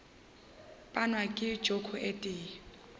panwa ka joko e tee